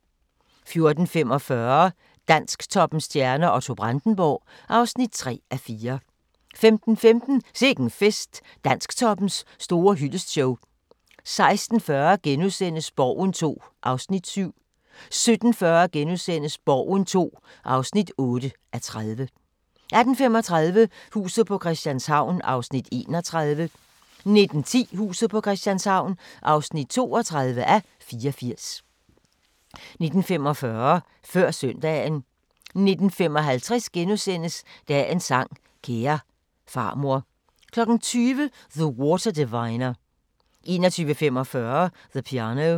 14:45: Dansktoppens stjerner: Otto Brandenburg (3:4) 15:15: Sikke'n Fest – Dansktoppens store hyldestshow 16:40: Borgen II (7:30)* 17:40: Borgen II (8:30)* 18:35: Huset på Christianshavn (31:84) 19:10: Huset på Christianshavn (32:84) 19:45: Før Søndagen 19:55: Dagens sang: Kære farmor * 20:00: The Water Diviner 21:45: The Piano